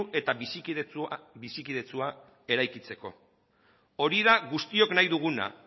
eta bizikidetsua eraikitzeko hori da guztiok nahi duguna